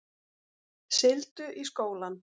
Sigldu í skólann